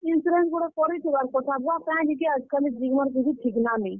Insurance ଗୁଟେ କରିଥିବାର୍ କଥା ବୁଆ, କେଁ ଯେ କି ଆଜ୍ କାଲି ଜୀବନର୍ କିଛି ଠିକ୍ ନା ନାଇଁ।